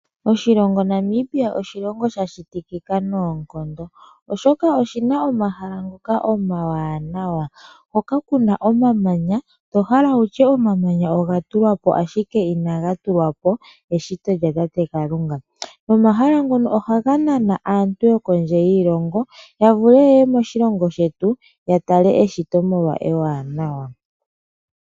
Oshilongo Namibia oshilongo sha shitikika noonkondo oshoka oshi na omahala ngoka omawanawa hoka ku na omamanya to hala wutye omamanya oga tulwapo ashike ina ga tulwapo eshito lyatate Kalunga nomahala ngono oha ga nana aantu yokondje yiilongo ya vule yeye moshilongo shetu ya tale eshito omolwashoka ewanawa.